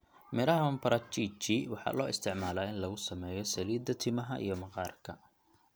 Miraha maparachichi waxaa loo isticmaalaa in lagu sameeyo saliidda timaha iyo maqaarka.